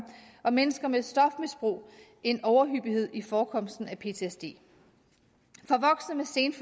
og mennesker med et stofmisbrug en overhyppighed i forekomsten af ptsd